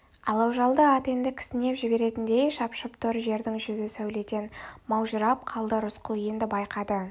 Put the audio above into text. алау жалды ат енді кісінеп жіберетіндей шапшып тұр жердің жүзі сәуледен маужырап қалды рысқұл енді байқады